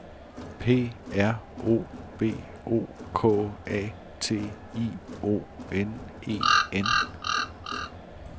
P R O V O K A T I O N E N